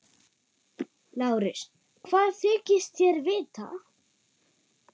LÁRUS: Hvað þykist þér vita?